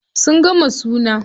Sun gama suna.